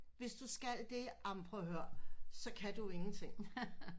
Hvis du skal det amen prøv at hør så kan du jo ingenting